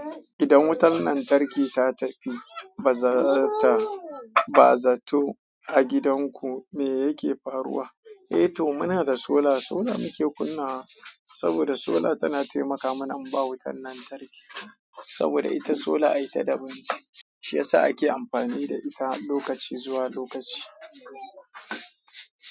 Idan wutar lantarki ta tafi, ba za ta, ba zato a gidan ku, me yake faruwa? Eh to muna da sola sola muke kunnawa, sola tana taimaka mana in ba wutar lantarki saboda ita sola a ita daban ce, shi yasa ake amfani da ita lokaci zuwa lokaci.